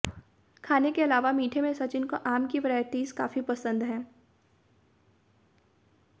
खाने के अलावा मीठे में सचिन को आम की वैरायटिज काफी पसंद है